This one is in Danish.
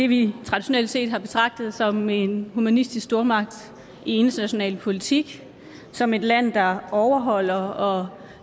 vi traditionelt set betragter som en humanistisk stormagt i international politik som et land der overholder og